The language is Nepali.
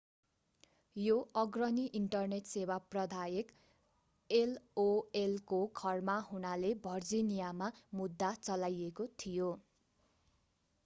यो अग्रणी इन्टरनेट सेवा प्रदायक एओएलको घर हुनाले भर्जिनियामा मुद्दा चलाइएको थियो